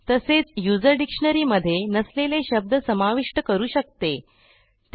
आणि user dictionary मध्ये आधी नसलेले शब्द समाविष्ट करण्याचा पर्याय उपलब्ध करते